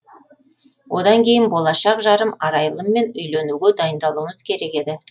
одан кейін болашақ жарым арайлыммен үйленуге дайындалуымыз керек еді